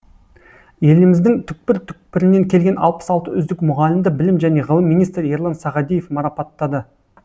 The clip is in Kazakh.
еліміздің түкпір түкпірінен келген алпыс алты үздік мұғалімді білім және ғылым министрі ерлан сағадиев марапаттады